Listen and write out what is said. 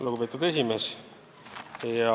Lugupeetud esimees!